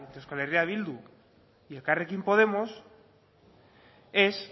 entre euskal herria bildu y elkarrekin podemos es